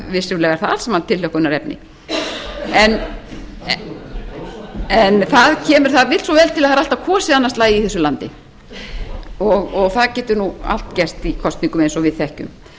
vissulega er það tilhlökkunarefni það vill svo vel til að það er alltaf kosið annað slagið í þessu landi og það getur allt gerst í kosningum eins og við þekkjum